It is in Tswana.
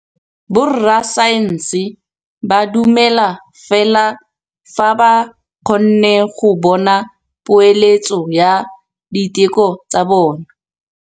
Borra saense ba dumela fela fa ba kgonne go bona poeletsô ya diteko tsa bone.